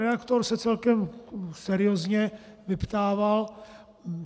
Redaktor se celkem seriózně vyptával.